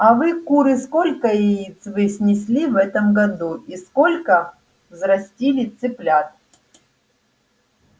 а вы куры сколько яиц вы снесли в этом году и сколько взрастили цыплят